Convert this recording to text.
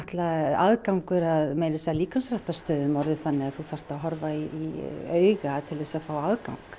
aðgangur að líkamsræktarstöðum orðinn þannig að þú þarft að horfa í auga til að fá aðgang